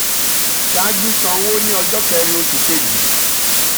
saju san owó ní ọjọ́ kẹ́rin oṣù kejì